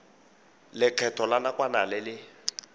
lekgetho la nakwana le le